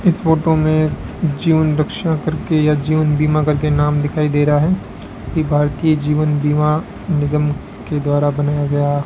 इस फोटो में जीवन रक्षा करके या जीवन बीमा करके नाम दिखाई दे रहा है कि भारतीय जीवन बीमा निगम के द्वारा बनाया गया --